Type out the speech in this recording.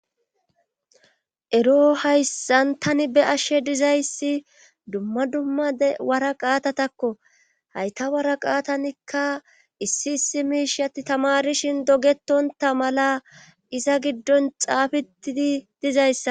ero hayssan tani be ashshe dizayssi dumma dumma de wara qaatatakko hayta wara qaatanikka issi issi miishatti tamarishin dogetonta mala iza giddon xaafetidi dizayssa